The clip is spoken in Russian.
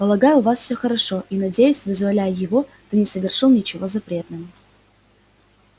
полагаю у вас все хорошо и надеюсь вызволяя его ты не совершил ничего запретного